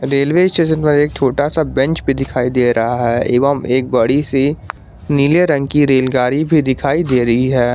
Railway station प एक छोटा सा बेंच भी दिखाई दे रहा है एवं एक बड़ी सी नीले रंग की रेलगाड़ी भी दिखाई दे रही है।